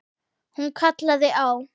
Hún kallaði á